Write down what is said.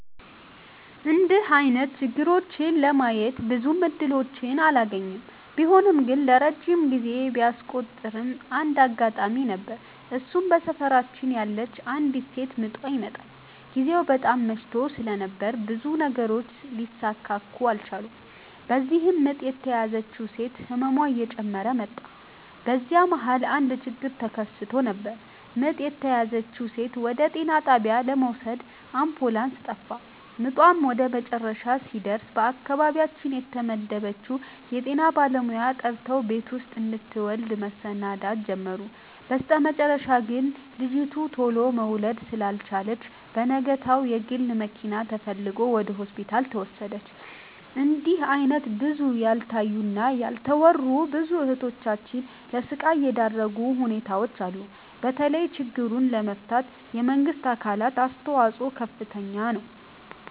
እንድህ አይነት ችግሮችን ለማየት ብዙም እድሎችን አላገኝም። ቢሆንም ግን ረጅም ጊዜ ቢያስቆጥርም አንድ አጋጣሚ ነበር እሱም በሰፈራችን ያለች አንዲት ሴት ምጧ ይመጠል። ግዜው በጣም መሽቶ ስለነበር ብዙ ነገሮች ሊሰካኩ አልቻሉም። በዚህም ምጥ የተያዘችው ሴት ህመሟ እየጨመረ መጣ። በዚህ መሀል አንድ ችግር ተከስቶ ነበር ምጥ የተያዘችውን ሴት ወደ ጤና ጣቢያ ለመውሰድ አምቡላንስ ጠፋ። ምጧም ወደመጨረሻ ሲደርስ በአካባቢያችን የተመደበችውን የጤና ባለሙያ ጠርተው ቤት ውስጥ እንድትወልድ መሰናዳት ጀመሩ። በስተመጨረሻ ግን ልጂቱ ቱሎ መውለድ ስላልቻለች በነጋታው የግል መኪና ተፈልጎ ወደ ሆስፒታል ተወሰደች። እንድህ አይነት ብዙ ያልታዩ እና ያልተወሩ ብዙ እህቶቻችን ለስቃይ የዳረጉ ሁኔታዎች አሉ። በተለይ ችግሩን ለመፍታት የመንግስት አካላት አስተዋጽኦ ከፍተኛ ነው።